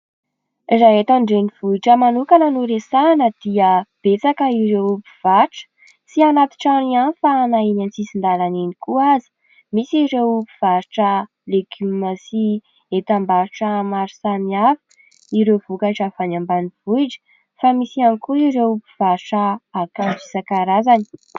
Raha eto an-drenivohitra manokana no resahina dia betsaka ireo mpivarotra. Tsy anaty trano ihany fa na eny an-tsisin-dalana eny koa aza. Misy ireo mpivarotra legioma sy entam-barotra maro samihafa, ireo vokatra avy any ambanivohitra fa misy ihany koa ireo mpivarotra akanjo isan-karazany.